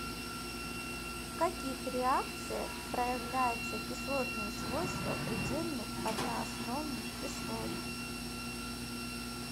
в каких реакциях проявляются кислотные свойства предельных одноосновных кислот